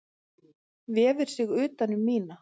Vefur sig utan um mína.